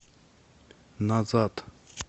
назад